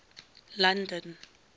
london